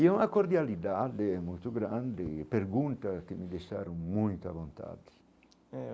E é uma cordialidade muito grande, pergunta que me deixaram muito à vontade. Eh